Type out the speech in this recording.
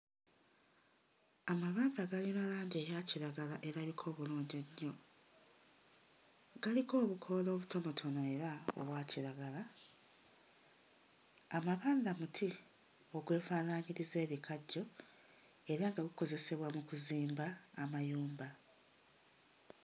Amabanda galina langi eyakiragala agalabika obulungi ennyo. Galiko obukoola obutonotono era obwakiragala, amabanda buti obwefaanaanyjriza ebikajjo era nga bukozesebwa mu kuzimba amayumba.